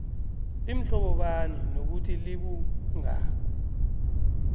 limhlobobani nokuthi libungako